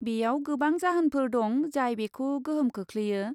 बेयाव गोबां जाहोनफोर दं जाय बेखौ गोहोम खोख्लैयो।